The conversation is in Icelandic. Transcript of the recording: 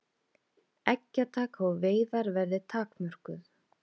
Eggjataka og veiðar verði takmörkuð